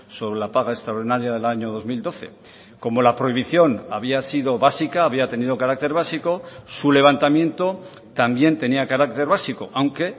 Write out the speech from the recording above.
sobre la paga extraordinaria del año dos mil doce como la prohibición había sido básica había tenido carácter básico su levantamiento también tenía carácter básico aunque